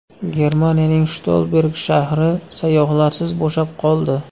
Germaniyaning Shtolberg shahri sayyohlarsiz bo‘shab qoldi.